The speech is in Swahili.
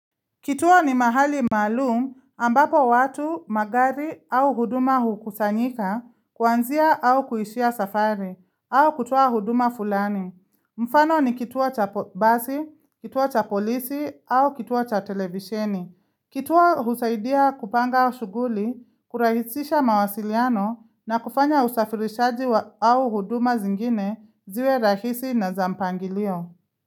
Kituo ni mahali malum ambapo watu magari au huduma hukusanyika kuanzia au kuishia safari au kutua huduma fulani Mfano ni kituo cha basi kituo cha polisi au kituo cha televisheni kituo husaidia kupanga shughuli kurahisisha mawasiliano na kufanya usafirishaji au huduma zingine ziwe rahisi na za mpangilio.